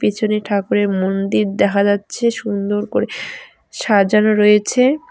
পেছনে ঠাকুরের মন্দির দেখা যাচ্ছে সুন্দর করে সাজানো রয়েছে।